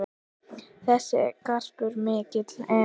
Þessi garpur mikill er.